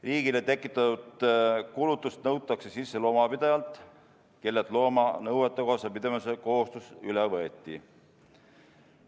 Riigile tekitatud kulutused nõutakse sisse loomapidajalt, kellelt looma nõuetekohase pidamise kohustus üle võeti.